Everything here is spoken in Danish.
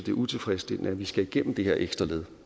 er utilfredsstillende at vi skal igennem det her ekstra led